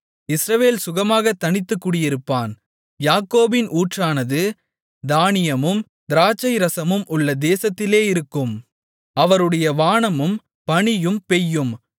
இஸ்ரவேல் சுகமாகத் தனித்து குடியிருப்பான் யாக்கோபின் ஊற்றானது தானியமும் திராட்சைரசமும் உள்ள தேசத்திலே இருக்கும் அவருடைய வானமும் பனியைப் பெய்யும்